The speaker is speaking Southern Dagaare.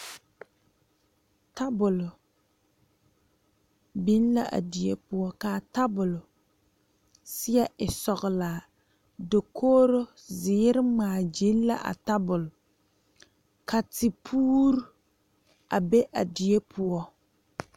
Tabol biŋ la a bie poɔ kaa tabol saɛ e sɔglaa dakogre ziiri ŋmaa gyile la a tabol ka te puure a be a bie poɔ.